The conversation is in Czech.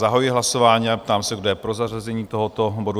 Zahajuji hlasování a ptám se, kdo je pro zařazení tohoto bodu?